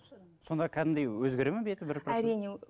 сонда кәдімгідей өзгереді ме беті әрине